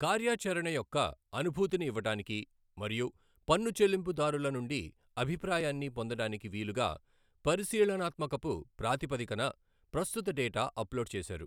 కార్యాచరణ యొక్క అనుభూతిని ఇవ్వడానికి మరియు పన్ను చెల్లింపుదారుల నుండి అభిప్రాయాన్ని పొందడానికి వీలుగా పరిశీలణాత్మకపు ప్రాతిపదికన ప్రస్తుత డేటా అప్లోడ్ చేశారు.